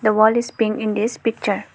the wall is pink in this picture.